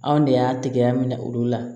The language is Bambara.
Anw de y'a tɛgɛ minɛ olu la